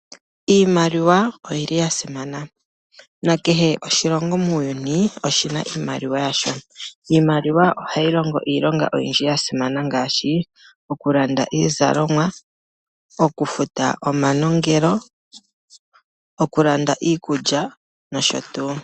Iimaliwa oyili yasimana. Kehe oshilongo muuyuni oshina iimaliwa yasho . Iimaliwa ohayi longo iilonga oyindji yasimana ngaashi okulanda iizalomwa, okufuta omanongelo , okulanda iikulya noshotuu.